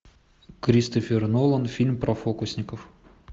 кристофер нолан фильм про фокусников